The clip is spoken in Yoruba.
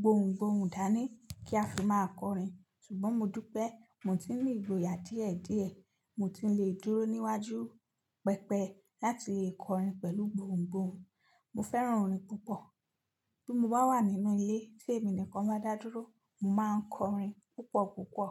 gbohùngbohùn dání kí a fi máa kọrin. Ṣùgbọ́n mo dú pé mo ti ń ní ìgboyà díẹ̀díẹ̀, mo ti ń lè dúró níwájú pẹpẹ láti lè kọrin pẹ̀lú gbohùngbohùn. Mo fẹ́ràn orin púpọ̀. Bí mo bá wà nínú ilé tí èmi nìkan bá dádúró, mo máa kọrin púpọ̀púpọ̀